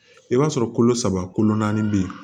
I b'a sɔrɔ kolo saba kolo naani be yen